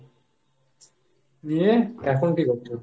নিয়ে, এখন কী করছো?